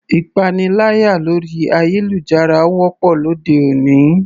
Ìpaniláyà lórí ayélujára wọ́pọ̀ lóde òní.